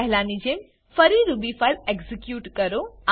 પહેલાની જેમ ફરી રૂબી ફાઈલ એક્ઝીક્યુટ કરો